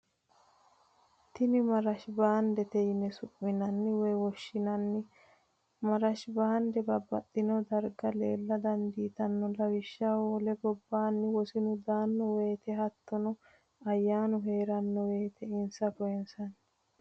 Tini marishi baandete yine su'minanni woyi woshinanni, marishi baande babaxino dariga leella danditanno lawishaho wole gobbanni wosinnu daano woyite hatonno ayaanu heeranno woyite insa koyinsanni